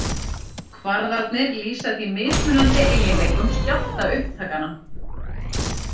Kvarðarnir lýsa því mismunandi eiginleikum skjálftaupptakanna.